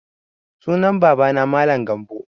Sunan baba na Mallam Gambo